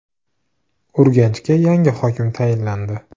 Urganchga yangi hokim tayinlandi.